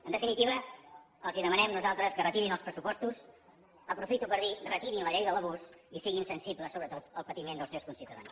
en definitiva els demanem nosaltres que retirin els pressupostos aprofito per dir retirin la llei de l’abús i siguin sensibles sobretot al patiment dels seus conciutadans